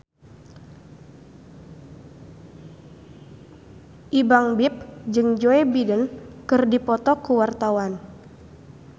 Ipank BIP jeung Joe Biden keur dipoto ku wartawan